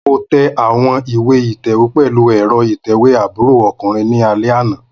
Mo tẹ awọn iwe ítẹ̀wé pẹlu ẹ́rọ ìtẹ́wé àbúrò okùnrin ni alẹ ana.